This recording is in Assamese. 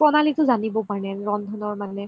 প্ৰণালীটো জানিবৰ কাৰণে ৰন্ধন মানে